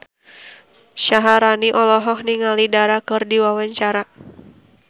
Syaharani olohok ningali Dara keur diwawancara